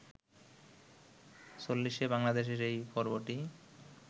চল্লিশে বাংলাদেশের এই পর্বটি